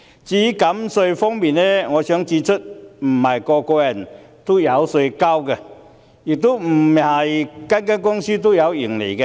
至於減稅方面，我想指出，不是每個人都需要繳稅，亦不是每間公司都有盈利。